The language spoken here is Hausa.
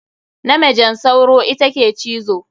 Na majen sauro ita ke cizo.